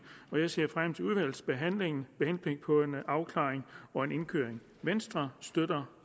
og jeg ser frem til udvalgsbehandlingen med henblik på en afklaring og en indkøring venstre støtter